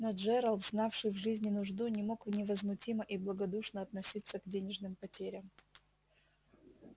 но джералд знавший в жизни нужду не мог невозмутимо и благодушно относиться к денежным потерям